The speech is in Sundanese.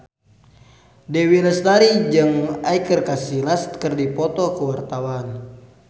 Dewi Lestari jeung Iker Casillas keur dipoto ku wartawan